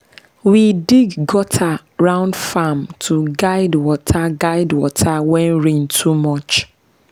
we dig gutter round farm to guide water guide water when rain too much.